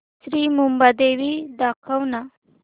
श्री मुंबादेवी दाखव ना